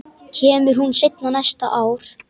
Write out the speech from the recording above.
Kemur hún seinna næsta ár?